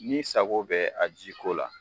Ni sako bɛ a ji ko la